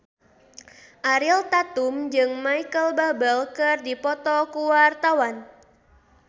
Ariel Tatum jeung Micheal Bubble keur dipoto ku wartawan